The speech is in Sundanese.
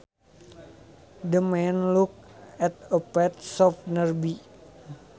The man looked at a pet shop nearby